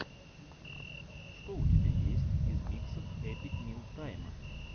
что у тебя есть из миксов эпик мил тайма